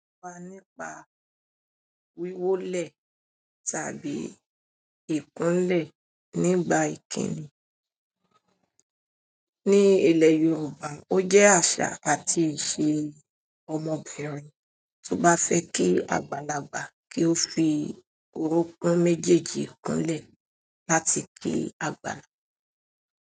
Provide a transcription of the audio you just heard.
Wà nípa wíwólẹ̀ tàbí ìkúnlẹ̀ nígbà ìkíni. Ni ilẹ̀ Yorùbá, ó jẹ́ àṣà àti ìṣe ọmọbìnrin tó bá fẹ́ kí àgbàlagbà kí ó fi orókún méjèèjì kúnlẹ̀ láti kí àgbàlagbà.